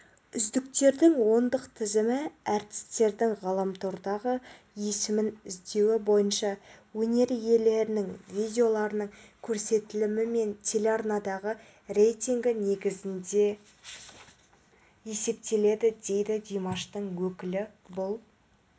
үздіктердің ондық тізімі әртістердің ғаламтордағы есімін іздеуі бойынша өнер иелерінің видеоларының көрсетілімі мен телеарнадағы рейтингі негізінде есептеледі дейді димаштың өкілі бұл